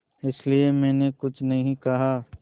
इसलिए मैंने कुछ नहीं कहा